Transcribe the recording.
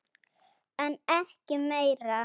En ekki meira.